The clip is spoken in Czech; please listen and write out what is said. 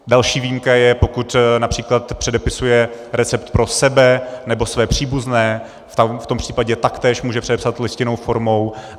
Další výjimka je, pokud například předepisuje recept pro sebe nebo svoje příbuzné, v tom případě taktéž může předepsat listinnou formou.